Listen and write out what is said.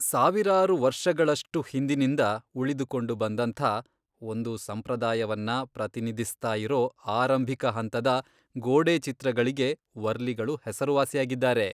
ಸಾವಿರಾರು ವರ್ಷಗಳಷ್ಟು ಹಿಂದಿನಿಂದ ಉಳಿದುಕೊಂಡು ಬಂದಂಥಾ ಒಂದು ಸಂಪ್ರದಾಯವನ್ನ ಪ್ರತಿನಿಧಿಸ್ತಾಯಿರೋ ಆರಂಭಿಕಹಂತದ ಗೋಡೆ ಚಿತ್ರಗಳಿಗೆ ವರ್ಲಿಗಳು ಹೆಸರುವಾಸಿಯಾಗಿದ್ದಾರೆ.